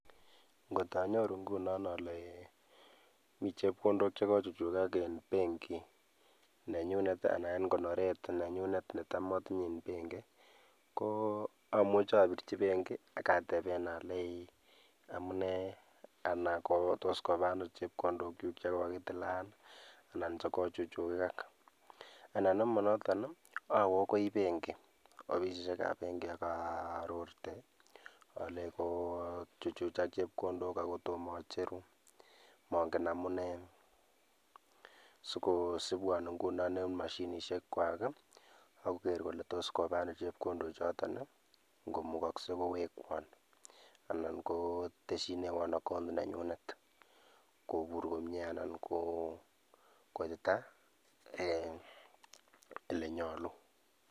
Ng'ot anyoru ng'unon olee iin mii chepkondok chekochukchukak en benkit nenyunet, anan en konoret nenyunet netam otinyee en benki ko amuche obirchi benki akateben oleii amunee anan kotos kobano chepkondokyuk chekokitilan anan chekochuchukak, anan nemonoton owee akoi benki ofisishekab benki akaarorte olee kochuchuchak chepkondok akotom ocheruu mong'en amunee, sikosibwon ing'unon en mashinishekwak okoker kolee toos kobano chepkondochoton ng'omukokse kowekwon, alaan kotesyinewon account nenyunet kobur komnyee anan koitita eeh elenyolu.